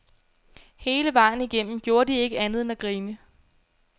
Hele vejen igennem gjorde de ikke andet end at grine.